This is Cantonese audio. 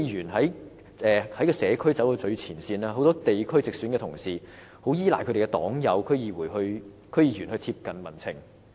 區議員走在社區最前線，很多地區直選的同事也依賴他們的區議員黨友來貼緊民情。